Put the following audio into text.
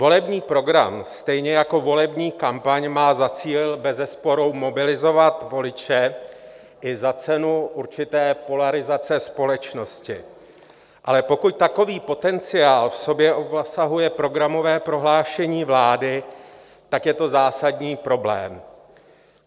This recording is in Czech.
Volební program stejně jako volební kampaň má za cíl bezesporu mobilizovat voliče i za cenu určité polarizace společnosti, ale pokud takový potenciál v sobě obsahuje Programové prohlášení vlády, tak je to zásadní problém.